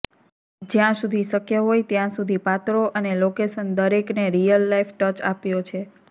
જ્યાં સુધી શક્ય હોય ત્યાં સુધી પાત્રો અને લોકેશન દરેકને રીયલ લાઇફ ટચ આપ્યો છે